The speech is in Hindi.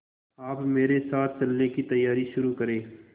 आप मेरे साथ चलने की तैयारी शुरू करें